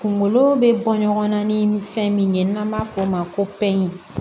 Kunkolo bɛ bɔ ɲɔgɔn na ni fɛn min ye n'an b'a fɔ o ma ko pɛri